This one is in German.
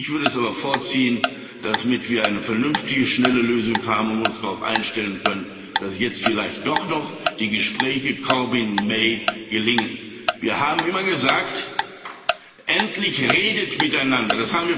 Ich würde es aber vorziehen damit wie eine vernünftige, schnelle Lösung haben und uns darauf einstellen können dass jetzt vielleicht doch noch die Gespräche Corbyn May gelingen. Wir haben immer gesagt Redet endlich miteinander!